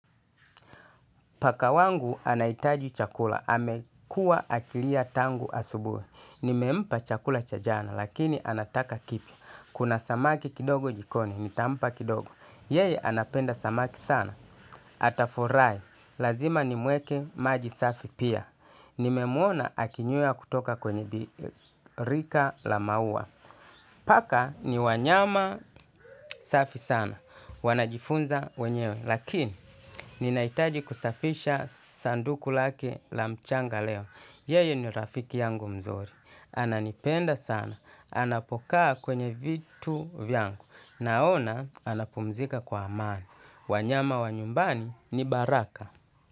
Pakawangu anahitaji chakula, amekua akilia tangu asubuhi. Nimempa chakula cha jana, lakini anataka kipya. Kuna samaki kidogo jikoni, nitampa kidogo. Yeye anapenda samaki sana. Atafurahi, lazima nimweke maji safi pia. Nimemwona akinywea kutoka kwenye birika la maua. Paka ni wanyama safi sana. Wanajifunza wenyewe. Lakini, ninaitaji kusafisha sanduku lake la mchanga leo. Yeye ni rafiki yangu mzuri. Ananipenda sana. Anapokaa kwenye vitu vyangu. Naona, anapumzika kwa amani. Wanyama wa nyumbani ni baraka.